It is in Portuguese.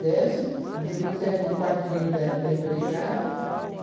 Desce e depois é ali o quartinho da da empregada.